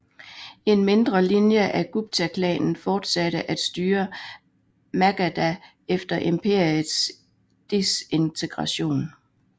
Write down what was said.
En mindre linje af Guptaklanen fortsatte at styre Magadha efter imperiets desintegration